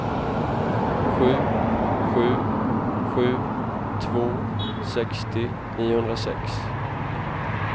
sju sju sju två sextio niohundrasex